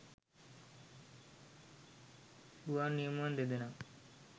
ගුවන් නියමුවන් දෙදෙනා